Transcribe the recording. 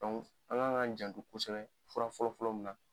an k'an janto kosɛbɛ fura fɔlɔ fɔlɔ mun na,